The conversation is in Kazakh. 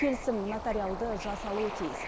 келісім нотариалды жасалуы тиіс